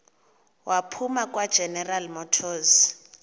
waphuma kwageneral motors